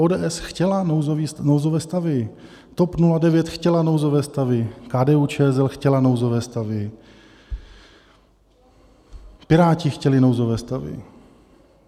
ODS chtěla nouzové stavy, TOP 09 chtěla nouzové stavy, KDU-ČSL chtěla nouzové stavy, Piráti chtěli nouzové stavy.